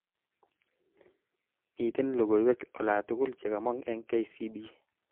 Miten logoiwek alatugul chekamong eng K.C.B